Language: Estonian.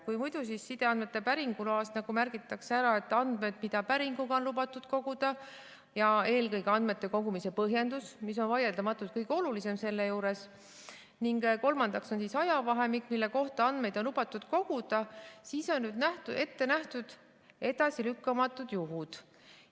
Kui muidu sideandmete päringu loale märgitakse ära andmed, mida päringuga on lubatud koguda, ja eelkõige andmete kogumise põhjendus, mis on vaieldamatult kõige olulisem selle juures, ning kolmandaks ajavahemik, mille kohta andmeid on lubatud koguda, siis on nüüd ette nähtud edasilükkamatud juhud.